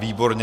Výborně.